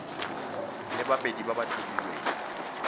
le babedi ba ba tlhophilweng